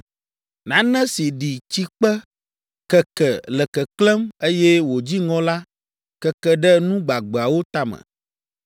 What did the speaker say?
Nane si ɖi tsikpe, keke, le keklẽm, eye wòdzi ŋɔ la, keke ɖe nu gbagbeawo tame.